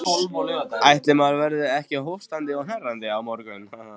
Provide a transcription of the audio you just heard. Ætli maður verði ekki hóstandi og hnerrandi á morgun.